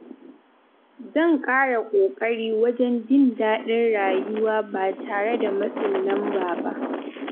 Zan kara kokari wajen jin daɗin rayuwa ba tare da matsin lamba ba.